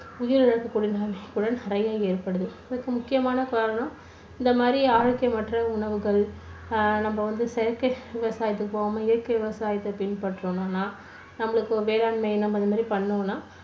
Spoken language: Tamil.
உயிரிழப்புகள் நிறைய ஏற்படுது. இதுக்கு முக்கியமான காரணம் இந்த மாதிரி ஆரோக்கியமற்ற உணவுகள், அஹ் நம்ம வந்து செயற்கை விவசாயத்துக்கு போவாம இயற்கை விவசாயத்தை பின் பற்றணுன்னா. நம்மளுக்கு வேளாண்மை இந்த மாதிரி பண்ணோம்னா